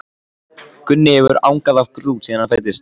Gunni hefur angað af grút síðan hann fæddist.